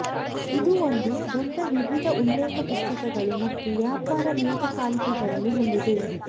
ಇದು ಒಂದು ದೊಡ್ಡ ವಿವಿಧ ಉಲ್ಲೇಖ ಪುಸ್ತಕಗಳು ಮತ್ತು ವ್ಯಾಪಾರ ನಿಯತಕಾಲಿಕೆಗಳನ್ನು ಹೊಂದಿದೆ